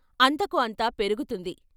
అంతకు అంత పెరుగుతుంది.